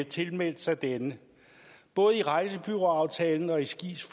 tilmeldt sig denne både i rejsebureauaftalen og i skis